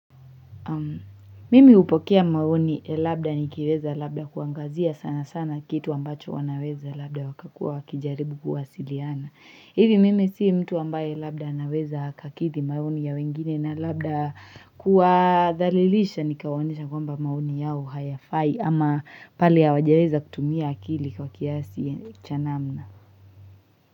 Mimi hupokea maoni labda nikiweza labda kuangazia sana sana kitu ambacho wanaweza labda wakakua wakijaribu kuwasiliana. Hivi mimi si mtu ambaye labda anaweza akakidhi maoni ya wengine na labda kuwadhalilisha nikawaonesha kwamba maoni yao hayafai ama pale hawajaweza kutumia akili kwa kiasi cha namna.